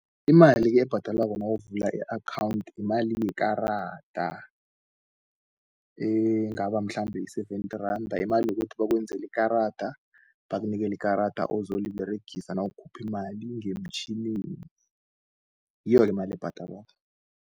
Imali-ke ebhadelwako nawuvula i-akhawunthi, yimali yekarada. Engaba mhlambe yi-seventy randa, imali yokuthi bakwenzeli ikarada, bakunikeli ikarada ozoliberegisa nawukhuphi imali ngemtjhinini ngiyo-ke imali ebhadalwako.